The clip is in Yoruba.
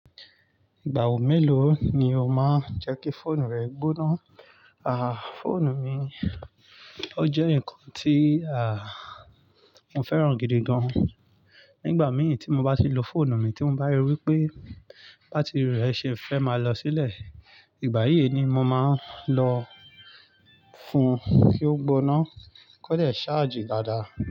Ìgbà wo mélòó ni o máa ń jẹ́ kí fóònù rẹ gbóná? À, fóònù mi ó jẹ́ ǹkan tí à, mo fẹ́ràn gidi gan. Nígbà mìí tí mo bá ti lo fóònù mi tí mo bá ríi wí pé bátìrì rẹ̀ ṣe fẹ́ máa lọ sílẹ̀, ìgbà yí ni mo máa ń lọ fun kí ó gbóná, kọ́ìdẹ̀ ṣáàjì dáadáa.